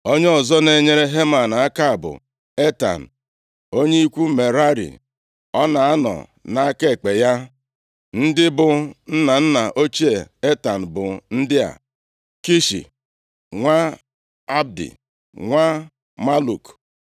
Onye ọzọ na-enyere Heman aka bụ Etan, onye ikwu Merari. Ọ na-anọ nʼaka ekpe ya. Ndị bụ nna nna ochie Etan bụ ndị a, Kishi, nwa Abdi, nwa Maluk,